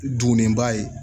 Duguniba ye